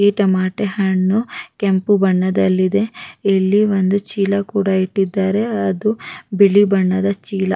ಈ ಟೊಮಾಟೇ ಹಣ್ಣು ಕೆಂಪು ಬಣ್ಣದಲ್ಲಿದೆ ಇಲ್ಲಿ ಒಂದು ಚೀಲ ಕೂಡ ಇಟ್ಟಿದಾರೆ ಹಾಗು ಬಿಳಿ ಬಣ್ಣದ ಚೀಲ ಕೂಡ--